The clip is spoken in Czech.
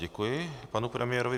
Děkuji panu premiérovi.